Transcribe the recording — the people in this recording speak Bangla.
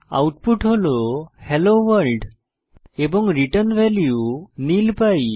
আউটপুট হল হেলো ভোর্ল্ড এবং রিটার্ন ভ্যালু নিল পাই